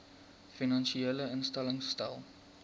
finansiële instellings stel